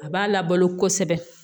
A b'a la balo kosɛbɛ